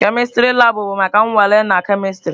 Kemistri labụ bụ maka nnwale na kemistri.